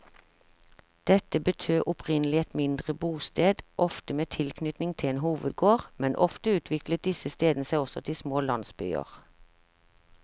Dette betød opprinnelig et mindre bosted, ofte med tilknytning til en hovedgård, men ofte utviklet disse stedene seg også til små landsbyer.